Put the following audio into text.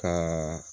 Ka